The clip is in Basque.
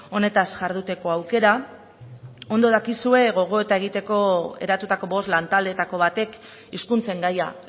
honetaz jarduteko aukera ondo dakizue gogoeta egiteko eratutako bost lantaldeetako batek hizkuntzen gaia